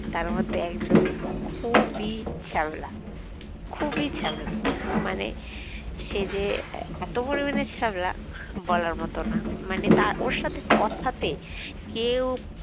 তার মধ্যে একজন খুবই ছ্যাবলা খুবই ছ্যাবলা মানে সে যে এত পরিমাণে ছ্যাবলা বলার মতো না মানে তা ওর সাথে কথাতে কেউ